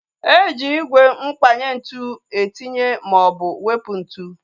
Eji ígwè mkpanye ntụ etinye maọbụ wepụ ntụ